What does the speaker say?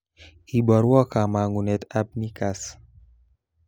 Iborwo kamangunat ab neakass